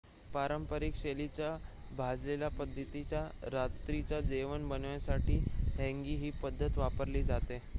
पारंपरिक शैलीचे भाजलेल्या पद्धतीचे रात्रीचे जेवण बनवण्यासाठी हँगी ही पद्धत वापरली जाते